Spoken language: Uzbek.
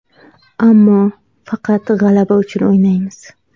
Ammo faqat g‘alaba uchun o‘ynaymiz.